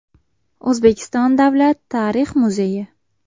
O‘zbekiston Davlat tarix muzeyi.